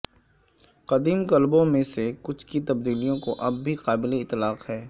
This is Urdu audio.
قدیم کلبوں میں سے کچھ کی تبدیلیوں کو اب بھی قابل اطلاق ہے